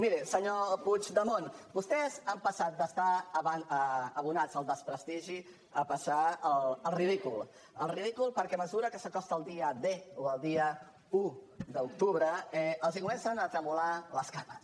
miri senyor puigdemont vostès han passat d’estar abonats al desprestigi a passar al ridícul al ridícul perquè a mesura que s’acosta el dia d o el dia un d’octubre els comencen a tremolar les cames